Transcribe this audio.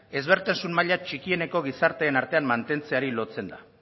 ezberdintasun maila txikieneko gizarteen artean mantentzeari lotzen da